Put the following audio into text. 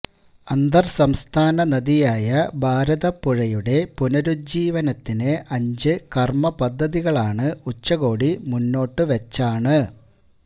അന്തര് സംസ്ഥാന നദിയായ ഭാരതപ്പുഴയുടെ പുനരുജ്ജീവനത്തിന് അഞ്ച് കര്മ്മപദ്ധതികളാണ് ഉച്ചകോടി മുന്നോട്ട് വച്ചാണ്